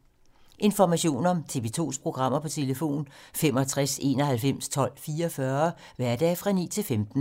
Information om TV 2's programmer: 65 91 12 44, hverdage 9-15.